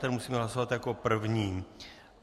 Ten musíme hlasovat jako první.